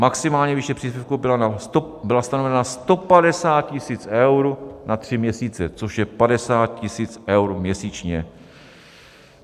Maximální výše příspěvku byla stanovena na 150 000 eur na tři měsíce, což je 50 000 eur měsíčně.